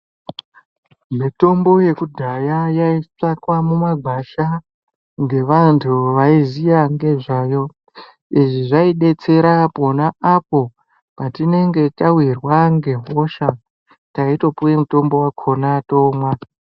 Mitombo yekudhaya yaitsvakwa mumagwasha ngevantu vaiziya nezvayo. Izvi zvaitidetsera pona apo patinenge tawirwa ngehosha, taitopuwe mitombo wakona tomwa.